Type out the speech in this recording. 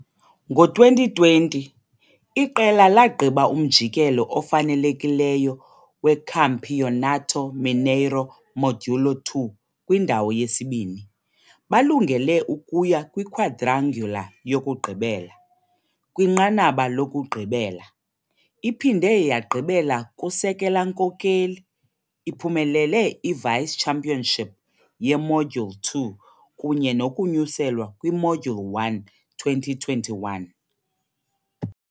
Ngo-2020, iqela lagqiba umjikelo ofanelekileyo weCampeonato Mineiro Módulo II kwindawo yesibini, balungele ukuya kwiquadrangular yokugqibela. Kwinqanaba lokugqibela, iphinde yagqiba kusekela-nkokeli, iphumelele i-vice-championship ye-Module II kunye nokunyuselwa kwi-Module I-2021.